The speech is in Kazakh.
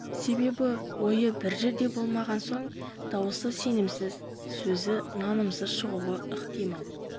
себебі ойы бір жерде болмаған соң даусы сенімсіз сөзі нанымсыз шығуы ықтимал